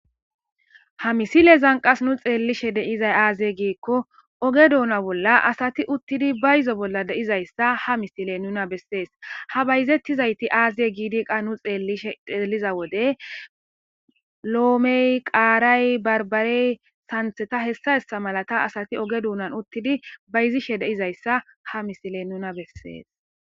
Ha misilezan qas nu xeellishe de'izay aaze giikko oge duuna bolla asati uttidi bayizo bolla deizayssa ha misiley nuna bessees ha bayzettizayti aaze giidi qa nu xeellishe xeeliza wode loomey qaaray barbarey sanththeta hessa hessa malata asati oge duunan uttidi bayizishe deizayssa ha misiley nuna bessees.